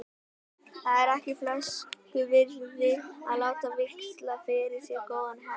Það er ekki flösku virði að láta víxla fyrir sér góðan hest.